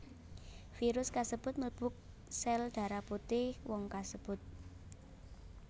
Virus kasebut mlebu sel darah putih wong kasebut